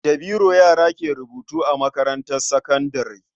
Da biro yara ke rubutu a makarantar sakandare.